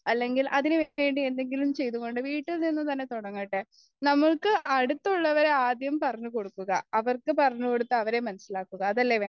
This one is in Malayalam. അല്ലെങ്കിൽ അതിനുവേണ്ടി എന്തെങ്കിലും ചെയ്തുകൊണ്ട് വീട്ടിൽനിന്നും തന്നെ തുടങ്ങട്ടെ നമ്മൾക്ക് അടുത്തുള്ളവരെ ആദ്യം പറഞ്ഞുകൊടുക്കുക അവർക്ക് പറഞ്ഞുകൊടുത്ത് അവരെ മനസ്സിലാക്കുക അതല്ലേ